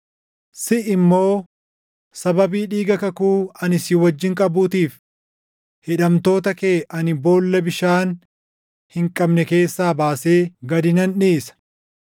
Siʼi immoo, sababii dhiiga kakuu ani si wajjin qabuutiif hidhamtoota kee ani boolla bishaan hin qabne keessaa baasee // gad nan dhiisa.